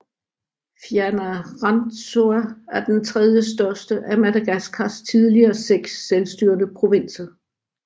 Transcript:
Fianarantsoa er den tredjestørste af Madagaskars tidligere seks selvstyrende provinser